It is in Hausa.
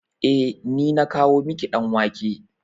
Eh, ni na kawo miki ɗan wake.